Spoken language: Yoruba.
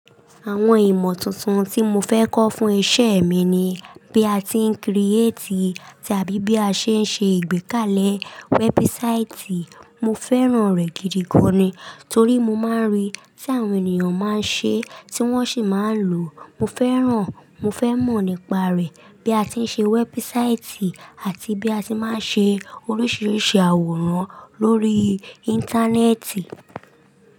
Àwọn ìmọ̀ tuntun tí mo fẹ́ kọ́ fún iṣẹ́ mi ni bí a ti ń create tàbíbí a ṣe ń ṣe ìgbékalẹ̀ website. Mo fẹ́ràn rẹ̀ gidi gan ni, torí mo máa ń rí tí àwọn ènìyàn máa ń ṣe, tí wọ́n sì máa ń lò. Mo fẹ́ràn, mo fẹ́ mọ̀ nípa rẹ̀, bí a ti ń ṣe website àti bí a ti máa ń ṣe oríṣiríṣi àwòrán lórí Íńtánẹ́ẹ̀tì.